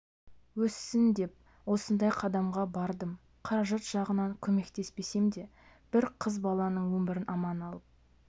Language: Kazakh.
өссін деп осындай қадамға бардым қаражат жағынан көмектеспесем де бір қыз баланың өмірін аман алып